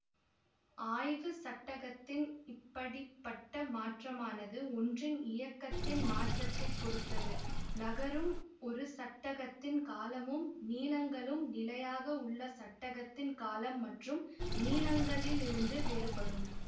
ஆய்வு சட்டகத்தின் இப்படி பட்ட மாற்றமானது ஒன்றின் இயக்கத்தின் மாற்றத்தை பொறுத்தது நகரும் ஒரு சட்டகத்தின் காலமும் நீளங்களும் நிலையாக உள்ள சட்டகத்தின் காலம் மற்றும் நீளங்களிலிருந்து வேறுபடும்